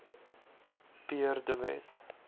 pierre de wet